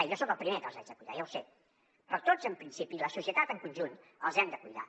i jo soc el primer que els haig de cuidar ja ho sé però tots en principi la societat en conjunt els hem de cuidar